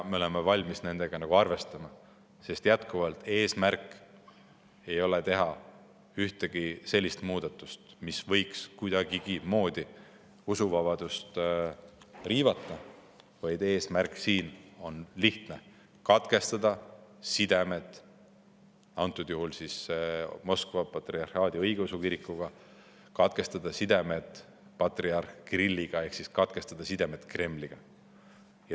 Me oleme valmis neid asju arvestama, sest eesmärk ei ole teha ühtegi sellist muudatust, mis võiks kuidagigi usuvabadust riivata, vaid eesmärk on lihtne: katkestada sidemed praegusel juhul Moskva Patriarhaadi Õigeusu Kirikuga, katkestada sidemed patriarh Kirilliga ehk siis katkestada sidemed Kremliga.